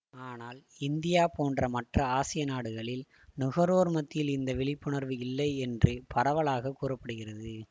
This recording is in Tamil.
ஆனால் இந்தியா போன்ற மற்ற ஆசிய நாடுகளில் நுகர்வோர் மத்தியில் இந்த விழிப்புணர்வு இல்லை என்று பரவலாக கூற படுகிறது